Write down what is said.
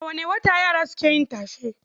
A wane wata yara suke yin tashe?